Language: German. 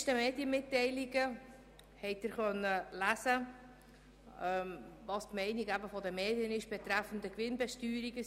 In diversen Medienmitteilungen konnten Sie lesen, was die Meinung betreffend die Gewinnbesteuerung ist.